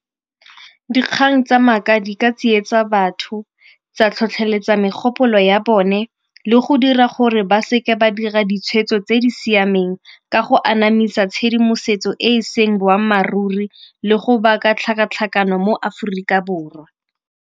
Dikgang tsa maaka di ka tsietsa batho, tsa tlhotlheletsa megopolo ya bone le go dira gore ba seke ba dira ditshwetso tse di siameng ka go anamisa tshedimosetso e e seng boammaaruri le go baka tlhakatlhakano mo Aforika Borwa.